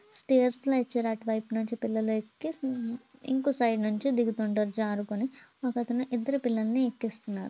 Stairs లా ఇచ్చారు. అటువైపు నుంచి పిల్లలు ఎక్కి ఇంకో సైడ్ నుంచి దిగుతుంటారు జారుకొని. ఒకతను ఇద్దర్ పిల్లలను ఎక్కిస్తున్నారు.